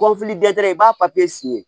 dɛsɛ i b'a papiye siye